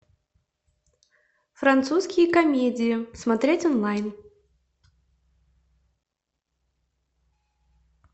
французские комедии смотреть онлайн